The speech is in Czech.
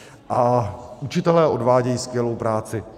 A učitelé odvádějí skvělou práce.